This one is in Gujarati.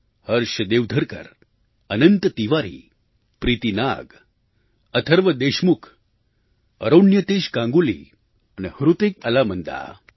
હર્ષ દેવધરકર અનંત તિવારી પ્રીતિ નાગ અથર્વ દેશમુખ અરોન્યતેશ ગાંગુલી અને હૃતિક અલામંદા